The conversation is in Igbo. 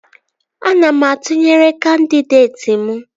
Ana m atụnyere kandịdeeti m